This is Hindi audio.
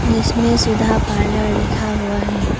जिसमें सुधा पार्लर लिखा हुआ है।